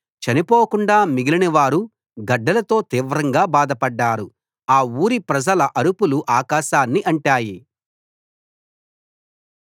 చనిపోకుండా మిగిలినవారు గడ్డలతో తీవ్రంగా బాధపడ్డారు ఆ ఊరి ప్రజల అరుపులు ఆకాశాన్ని అంటాయి